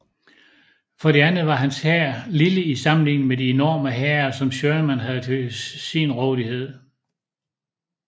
For det andet var hans hær lille i sammenligning med de enorme hære som Sherman havde til sin rådighed